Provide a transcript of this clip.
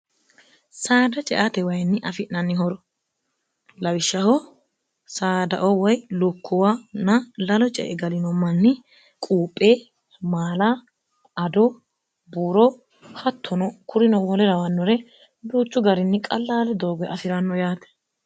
saada ceaate wayinni afi'nannihoro lawishshaho saadao woy lukkuwa na lalo ce e galino manni quuphe maala ado buuro hattono kurino mole rawannore buuchu garinni qallaale doogo afi'ranno yaate